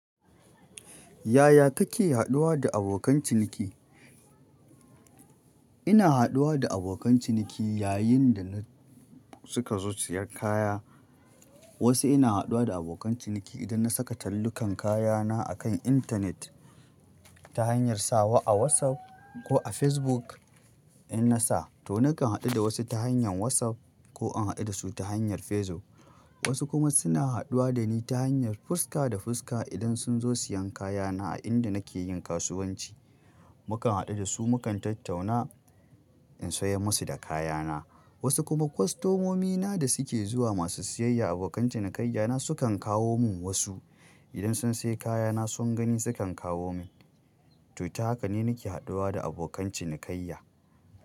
Yaya kake haɗuwa da abokan ciniki? Ina haɗuwa da abokan ciniki yayin da na suka zo siyan kaya. Wasu ina haɗuwa da abokan ciniki idan na saka tallukan kayana akan intanet ta hanyar sawa a WhatsApp ko a Facebook. In na sa to nakan haɗu da wasu ta hanyar WhatsApp ko in haɗu da su ta hanyar Facebook. Wasu kuma suna haɗuwa da ni ta hanyar fuska da fuska idan sun zo siyan kayana a inda nake yin kasuwanci. Mukan haɗu da su, mukan tattauna in sayar musu da kayana. Wasu kuma kostomomina da suke zuwa masu siyayya, abokan cinikayyana sukan kawo min wasu. Idan sun sayi kayana sun gani sukan kawo min. To ta haka ne nake haɗuwa da abokan cinikayya.